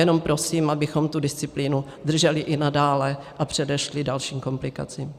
Jenom prosím, abychom tu disciplínu drželi i nadále a předešli dalším komplikacím.